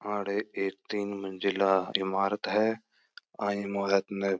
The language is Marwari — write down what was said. आडे एक तीन मंजिला इमारते है आ इमारत --